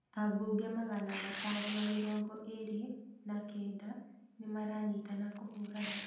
Abunge magana atano na mĩrongo ĩrĩ na kenda nĩ maranyitana kũhurana